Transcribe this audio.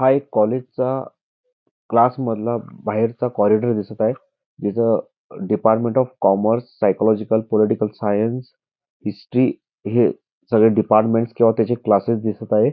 हा एका कॉलेजचा क्लासमधला बाहेरचा कॉरिडॉर दिसत आहे जिथ department of commerce psychological political science history हे सर्व डिपार्मेंट्स किंवा त्यांचे क्लासेस दिसत आहेत